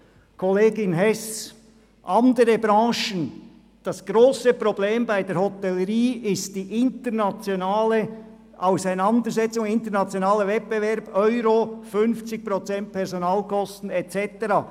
Zu den anderen Branchen, Kollegin Hess: Das grosse Problem bei der Hotellerie ist die internationale Wettbewerbsfähigkeit betreffend den Euro, 50 Prozent Personalkosten und so weiter.